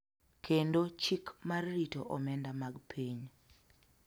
kendo Chik mar rito omenda mag piny.